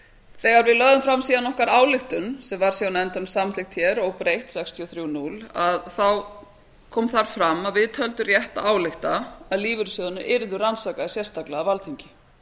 þegar við lögðum síðan farm okkar ályktun sem var síðan samþykkt óbreytt sextíu og þrjú núll þá kom þar fram að við töldum rétt að álykta að lífeyrissjóðirnir yrðu rannsakaðir sérstaklega af alþingi